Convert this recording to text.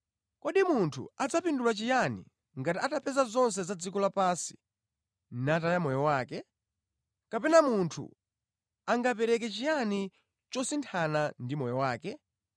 Kodi munthu adzapindula chiyani ngati atapeza zonse za dziko lapansi nataya moyo wake? Kapena munthu angapereke chiyani chosinthana ndi moyo wake?